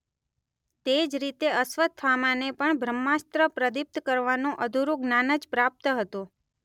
તે જ રીતે અશ્વત્થામાને પણ બ્રહ્માસ્ત્ર પ્રદીપ્ત કરવાનું અધુરું જ્ઞાન જ પ્રાપ્ત હતું.